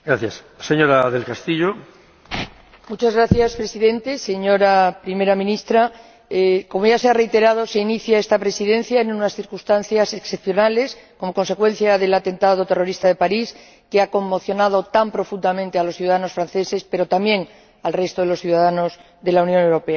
Señor Presidente, señora Primera Ministra, como ya se ha reiterado, se inicia esta Presidencia en unas circunstancias excepcionales, como consecuencia del atentado terrorista de París, que ha conmocionado tan profundamente a los ciudadanos franceses, pero también al resto de los ciudadanos de la Unión Europea.